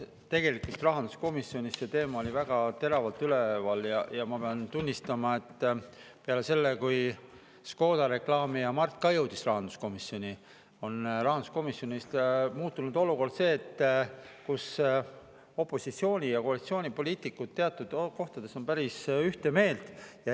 Tegelikult rahanduskomisjonis see teema oli väga teravalt üleval ja ma pean tunnistama, et peale seda, kui Škoda reklaamija Mart ka jõudis rahanduskomisjoni, on rahanduskomisjonis muutunud olukord selliseks, kus opositsiooni- ja koalitsioonipoliitikud teatud kohtades on päris ühte meelt.